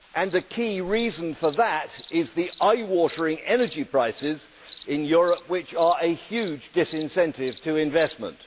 The key reason for that is the eye watering energy prices in Europe, which are a huge disincentive to investment.